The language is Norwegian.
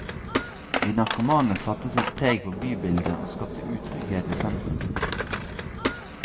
De narkomane satte sitt preg på bybildet, og skapte utrygghet i sentrum.